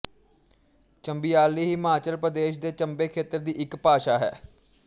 ਚੰਬਿਆਲੀ ਹਿਮਾਚਲ ਪ੍ਰਦੇਸ਼ ਦੇ ਚੰਬੇ ਖੇਤਰ ਦੀ ਇੱਕ ਭਾਸ਼ਾ ਹੈ